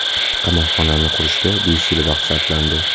Qamoqxonani qurishga besh yil vaqt sarflandi.